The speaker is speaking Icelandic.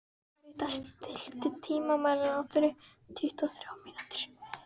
Karítas, stilltu tímamælinn á tuttugu og þrjár mínútur.